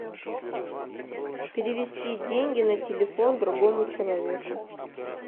перевести деньги на телефон другому человеку